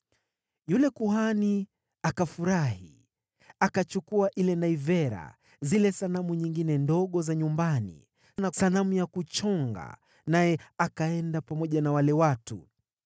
Yule kuhani akafurahi. Akachukua ile naivera, zile sanamu nyingine ndogo za nyumbani, na sanamu ya kuchonga, naye akaenda pamoja na wale watu.